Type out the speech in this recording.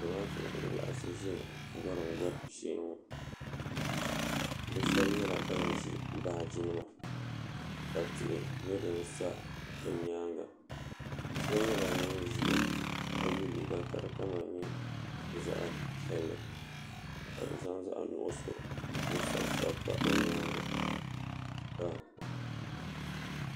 zamaatu n laɣasi gɔrim gɔbu shee ŋɔ ʒɛ shee ŋɔ bi shab nyɛla ban ʒi baaji nima ka tihi nyɛ din sa bi nyaanga so nyɛla ŋun ʒiya ka yɛ liiga ka di kama nyɛ zaɣ piɛlli ka bi zaɣ zaɣ nuɣso n sabi sabi pa o nyaanga